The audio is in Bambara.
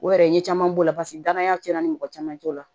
O yɛrɛ n ye caman b'o la paseke danaya tiɲɛna ni mɔgɔ caman t'o la